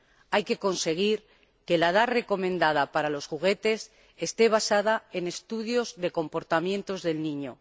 Hay que conseguir que la edad recomendada para los juguetes esté basada en estudios de comportamientos del niño.